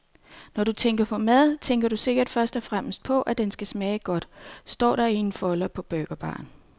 Når du tænker på mad, tænker du sikkert først og fremmest på, at den skal smage godt, står der i en folder på burgerbaren.